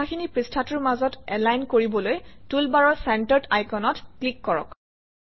কথাখিনি পৃষ্ঠাটোৰ মাজত এলাইন কৰিবলৈ টুলবাৰৰ চেণ্টাৰ্ড আইকনত ক্লিক কৰক